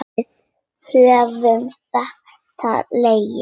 Við höfum þekkst lengi.